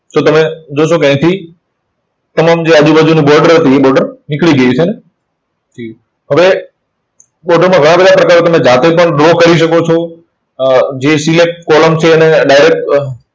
તો તમે જોશો કે અહીંથી તમામ જે આજુબાજુની border હતી, એ border નીકળી ગઈ છે. જી. હવે border માં ઘણા બધા પ્રકાર હોય. તમે જાતે પણ draw કરી શકો છો. અર જે select column છે એને direct